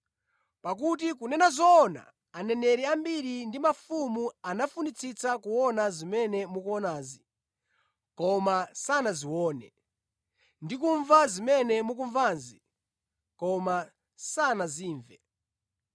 Pakuti kunena zoona aneneri ambiri ndi mafumu anafunitsitsa kuona zimene mukuonazi koma sanazione, ndi kumva zimene mukumvazi koma sanazimve.”